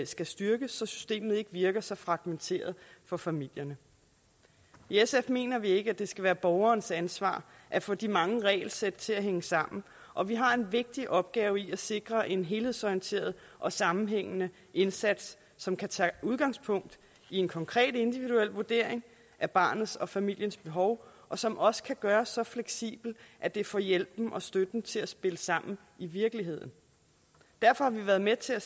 skal styrkes så systemet ikke virker så fragmenteret for familierne i sf mener vi ikke at det skal være borgerens ansvar at få de mange regelsæt til at hænge sammen og vi har en vigtig opgave i at sikre en helhedsorienteret og sammenhængende indsats som kan tage udgangspunkt i en konkret individuel vurdering af barnets og familiens behov og som også kan gøres så fleksibel at det får hjælpen og støtten til at spille sammen i virkeligheden derfor har vi været med til at